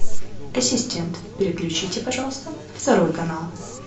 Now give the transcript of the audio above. ассистент переключите пожалуйста второй канал